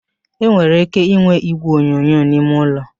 E nwere ike inwe igwe onyonyo n'ime ụlọ